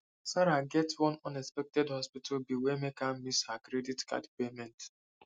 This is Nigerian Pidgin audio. sarah get one unexpected hospital bill wey make her miss her credit card payment